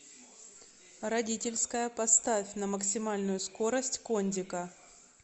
родительская поставь на максимальную скорость кондика